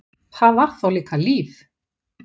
Það var þá líka líf!